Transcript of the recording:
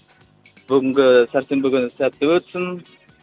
бүгінгі сәрсенбі күні сәтті өтсін